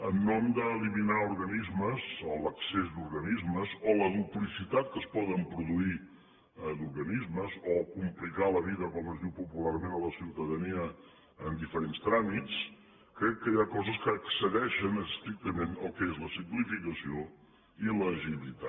en nom d’eliminar organismes o l’excés d’organismes o la duplicitat que es pot produir d’organismes o complicar la vida com es diu popularment la ciutadania en diferents tràmits crec que hi ha coses que excedeixen estrictament el que són la simplificació i l’agilitat